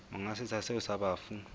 monga setsha seo sa bafu